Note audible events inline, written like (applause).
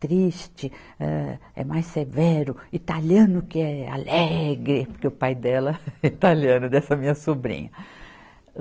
triste, âh, é mais severo, italiano que é, alegre, porque o pai dela (laughs) é italiano, dessa minha sobrinha.